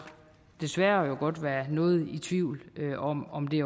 desværre godt være noget i tvivl om om det